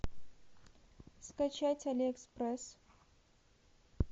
скачать али экспресс